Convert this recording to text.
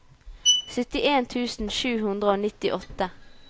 syttien tusen sju hundre og nittiåtte